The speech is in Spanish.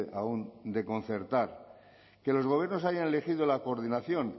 aún de concertar que los gobiernos hayan elegido la coordinación